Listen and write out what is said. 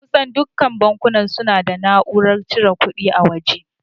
Kusan dukkan bankuna suna da na'urar cire kuɗi a waje.